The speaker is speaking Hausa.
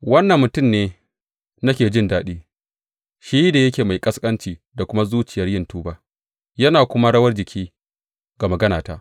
Wannan mutum ne nake jin daɗi, shi da yake mai ƙasƙanci da kuma zuciyar yin tuba, yana kuma rawar jiki ga maganata.